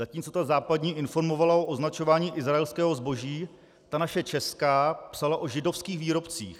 Zatímco ta západní informovala o označování izraelského zboží, ta naše česká psala o židovských výrobcích.